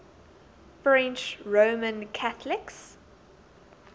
french roman catholics